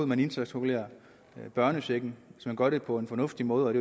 man indtægtsregulerer børnechecken hvis man gør det på en fornuftig måde